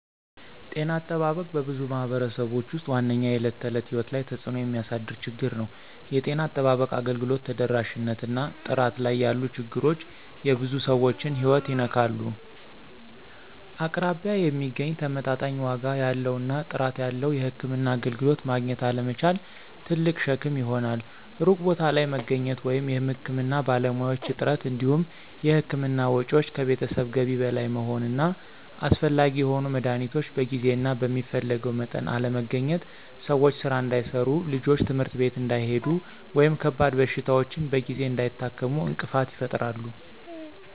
ጤና አጠባበቅ በብዙ ማኅበረሰቦች ውስጥ ዋነኛው የዕለት ተዕለት ሕይወት ላይ ተጽእኖ የሚያሳድር ችግር ነው። የጤና አጠባበቅ አገልግሎት ተደራሽነት እና ጥራት ላይ ያሉ ችግሮች የብዙ ሰዎችን ሕይወት ይነካሉ። አቅራቢያ የሚገኝ፣ ተመጣጣኝ ዋጋ ያለው እና ጥራት ያለው የሕክምና አገልግሎት ማግኘት አለመቻል ትልቅ ሸክም ይሆናል። ሩቅ ቦታ ላይ መገኘት ወይም የሕክምና ባለሙያዎች እጥረት እንዲሁም የሕክምና ወጪዎች ከቤተሰብ ገቢ በላይ መሆን እና አስፈላጊ የሆኑ መድኃኒቶች በጊዜ እና በሚፈለገው መጠን አለመገኘት ሰዎች ሥራ እንዳይሠሩ፣ ልጆች ትምህርት ቤት እንዳይሄዱ ወይም ከባድ በሽታዎችን በጊዜ እንዳይታከሙ እንቅፋት ይፈጥራሉ።